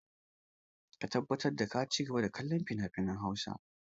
Ka tabbata ka ci gaba da kallon finafinan Hausa!